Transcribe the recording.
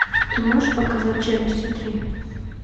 ты можешь показать челюсти три